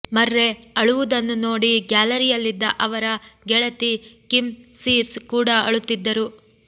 ಮರ್ರೆ ಅಳುವುದನ್ನು ನೋಡಿ ಗ್ಯಾಲರಿಯಲ್ಲಿದ್ದ ಅವರ ಗೆಳತಿ ಕಿಮ್ ಸೀರ್ಸ್ ಕೂಡಾ ಅಳುತ್ತಿದ್ದರು